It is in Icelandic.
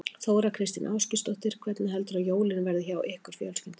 Þóra Kristín Ásgeirsdóttir: Hvernig heldurðu að jólin verði hjá ykkur fjölskyldunni?